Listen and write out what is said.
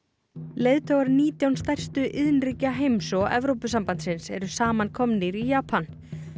leiðtogar nítján stærstu iðnríkja heims og Evrópusambandsins eru saman komnir í Japan